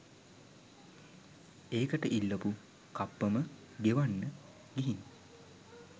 ඒකට ඉල්ලපු කප්පම ගෙවන්න. ගිහින් .